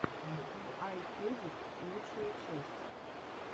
ай кедит лучшая часть